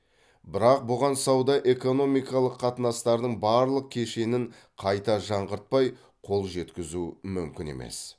бірақ бұған сауда экономикалық қатынастардың барлық кешенін қайта жаңғыртпай қол жеткізу мүмкін емес